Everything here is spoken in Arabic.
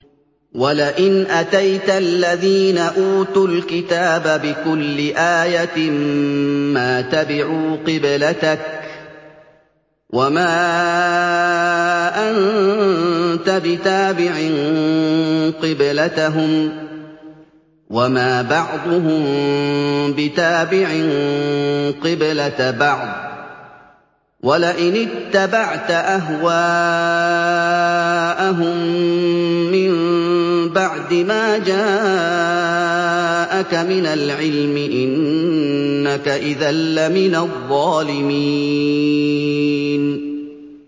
وَلَئِنْ أَتَيْتَ الَّذِينَ أُوتُوا الْكِتَابَ بِكُلِّ آيَةٍ مَّا تَبِعُوا قِبْلَتَكَ ۚ وَمَا أَنتَ بِتَابِعٍ قِبْلَتَهُمْ ۚ وَمَا بَعْضُهُم بِتَابِعٍ قِبْلَةَ بَعْضٍ ۚ وَلَئِنِ اتَّبَعْتَ أَهْوَاءَهُم مِّن بَعْدِ مَا جَاءَكَ مِنَ الْعِلْمِ ۙ إِنَّكَ إِذًا لَّمِنَ الظَّالِمِينَ